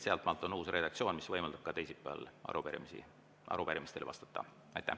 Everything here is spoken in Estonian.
Sealtmaalt on uus redaktsioon, mis võimaldab ka teisipäeval arupärimistele vastata.